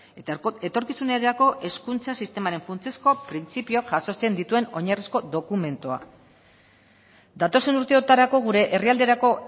eta etorkizunerako hezkuntza sistemaren funtsezko printzipioak jasotzen dituen oinarrizko dokumentua datozen urteotarako gure herrialderako